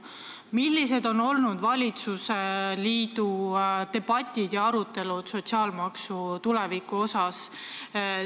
Millised on olnud valitsusliidu debatid, arutelud sotsiaalmaksu tuleviku üle?